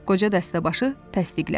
Qoca dəstəbaşı təsdiqlədi.